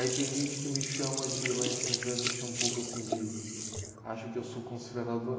Aí tem gente que me chama de, lá em São José, me chama um pouco assim de, acha que eu sou conservador.